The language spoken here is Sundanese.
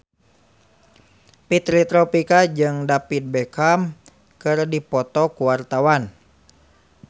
Fitri Tropika jeung David Beckham keur dipoto ku wartawan